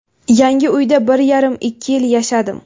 Yangi uyda bir yarim, ikki yil yashadim.